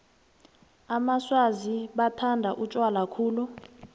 amaswazi bathanda utjwala khulu